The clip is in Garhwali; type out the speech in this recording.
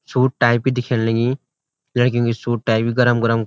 सूट टाइप की दिखेंण लगीं लड़कियों की सूट टाइप गरम-गरम।